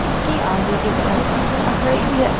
इसके आगे एक सड़क नजर आ रही है।